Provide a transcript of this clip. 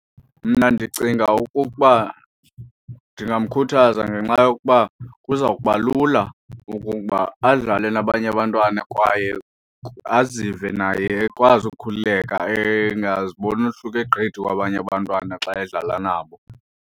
Mna ndicinga okokuba ndingamkhuthaza ngenxa yokuba kuza kuba lula ukuba adlale nabanye abantwana kwaye azive naye ekwazi ukukhululeka, engaziboni ehluke gqithi kwabanye abantwana xa edlala nabo.